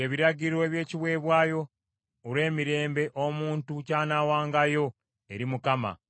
“ ‘Bino by’ebiragiro eby’ekiweebwayo olw’emirembe omuntu ky’anaawangayo eri Mukama .